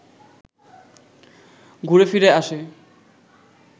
ঘুরে-ফিরে আসে